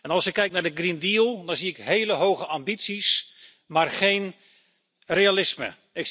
Als ik kijk naar de Green Deal, dan zie ik hele hoge ambities, maar geen realisme.